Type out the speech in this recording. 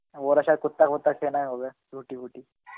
ওরা Hindi কুত্তা ফুত্তা খেয়ে নেয় হবে রুটি বুটি